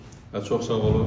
Və çox sağ olun.